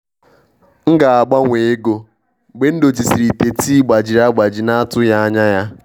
M ga-agbanwe ego mgbe m dochisịrị ite tii gbajiri agbaji na-atụghị anya ya.